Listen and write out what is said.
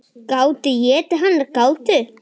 Gátu étið hana, gátu.